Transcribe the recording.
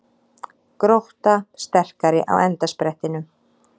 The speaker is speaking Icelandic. Grótta sterkari á endasprettinum